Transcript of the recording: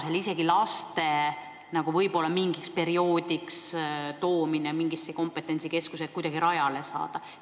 Ehk võiks vajaduse korral tuua isegi lapsi mingiks perioodiks sellisesse kompetentsikeskusse, et nad kuidagi rajale saaks?